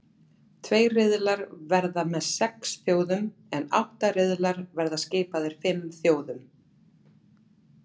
Tveir riðlar verða með sex þjóðum en átta riðlar verða skipaðir fimm þjóðum.